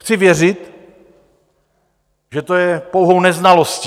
Chci věřit, že to je pouhou neznalostí.